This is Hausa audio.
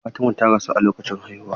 Fatima ta rasu ne a lokacin haihuwa.